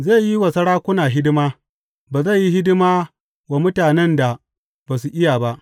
Zai yi wa sarakuna hidima; ba zai yi hidima wa mutanen da ba su iya ba.